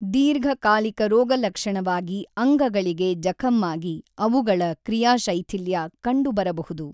ದೀರ್ಘ ಕಾಲಿಕ ರೋಗಲಕ್ಷಣವಾಗಿ ಅಂಗಗಳಿಗೆ ಜಖಮ್ಮಾಗಿ ಅವುಗಳ ಕ್ರಿಯಾಶೈಥಿಲ್ಯ ಕಂಡುಬರಬಹುದು.